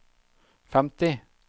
femti